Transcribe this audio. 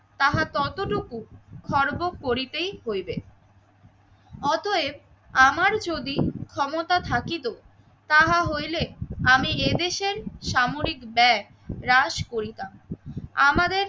তাহা ততটুকু খর্ব করিতেই করিবে অতএব আমার যদি ক্ষমতা থাকিতো তাহা হইলে আমি এদেশের সামরিক ব্যাগ হ্রাস করিতাম। আমারে